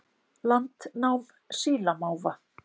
Landnám sílamáfa